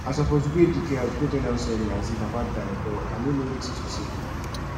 i suppose go ejike house go tell am sorry as im papa die but i no know wetin to say